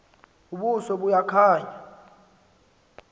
ubuso buya khanya